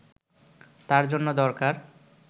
তার জন্য দরকার